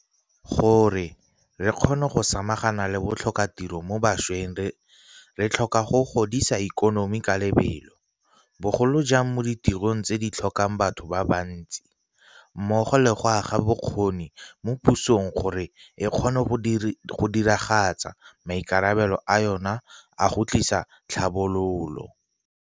Gore re kgone go samagana le botlhokatiro mo bašweng re tlhoka go godisa ikonomi ka lebelo, bogolo jang mo ditirong tse di tlhokang batho ba bantsi, mmogo le go aga bokgoni mo pusong gore e kgone go diragatsa maikarabelo a yona a go tlisa tlhabololo.